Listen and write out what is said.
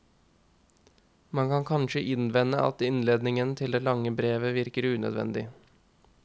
Man kan kanskje innvende at innledningen til det lange brevet virker unødvendig.